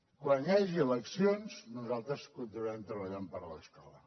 quan hi hagi eleccions nosaltres continuarem treballant per l’escola